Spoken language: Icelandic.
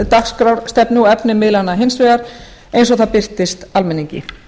dagskrárstefnu og efni miðlanna hins vegar eins og það birtist almenningi